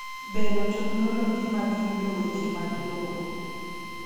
Bero teknoloji mag yudo weche mag lowo.